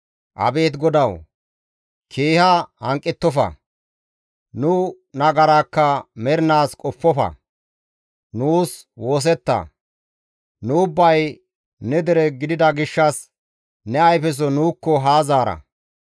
Abeet GODAWU, keeha hanqettofa; nu nagaraakka mernaas qoppofa; nuus woosetta; nu ubbay ne dere gidida gishshas ne ayfeso nuukko haa zaara.